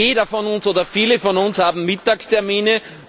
Jeder von uns oder viele von uns haben Mittagstermine.